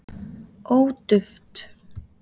ó duft